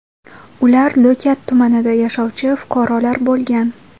Ular Lo‘kat tumanida yashovchi fuqarolar bo‘lgan.